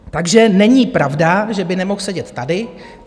Takže není pravda, že by nemohl sedět tady.